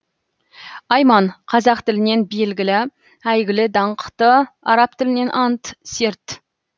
аи ман қазақ тілінен белгілі әйгілі даңқты араб тілінен ант серт